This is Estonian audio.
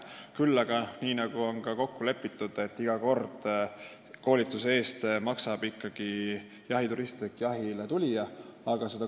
Küll aga ütlen, nii nagu on ka kokku lepitud, et iga kord maksab koolituse eest jahiturist ehk jahile tulija.